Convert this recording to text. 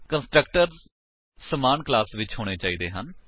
constructors ਸਮਾਨ class ਵਿੱਚ ਹੋਣੇ ਚਾਹੀਦੇ ਹਨ